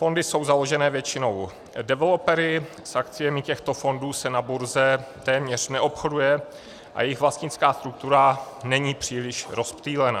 Fondy jsou založené většinou developery, s akciemi těchto fondů se na burze téměř neobchoduje a jejich vlastnická struktura není příliš rozptýlena.